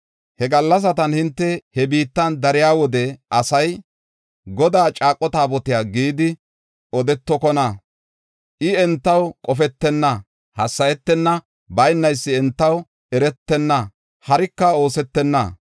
“He gallasatan hinte he biittan dariya wode asay, ‘Godaa caaqo Taabotiya’ gidi odetokona. I entaw qofetenna; hassayetenna; baynaysi entaw eretenna; harika oosetenna.